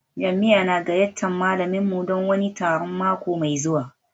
Jami'a na gayyatar malaminmu don wani taron mako mai zuwa